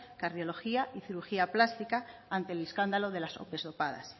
cardiología y cirugía plástica ante el escándalo de las ope dopadas